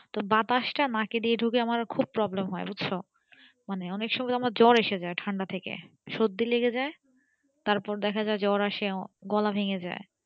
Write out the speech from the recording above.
তো বাতাসটা নাক দিয়ে ধুকে আমার খুব problem হয় বুঝছো মানে আমার অনেক সময় জ্বর এসে যাই ঠান্ডা থেকে সর্দি লেগে যাই তারার দেখা যাই জ্বর আসে গলা ভেঙে যাই